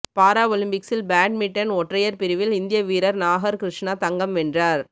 பாரஒலிம்பிக்ஸில் badminton ஒற்றையர் பிரிவில் இந்திய வீரர் நாகர் கிருஷ்ணா தங்கம் வென்றார்